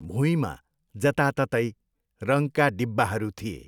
भुईँमा जताततै रङका डिब्बाहरू थिए।